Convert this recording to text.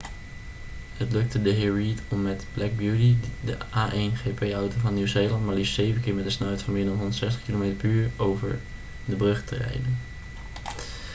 het lukte dhr. reid om met black beauty de a1gp-auto van nieuw-zeeland maar liefst 7 keer met een snelheid van meer dan 160 km/u over de brug te rijden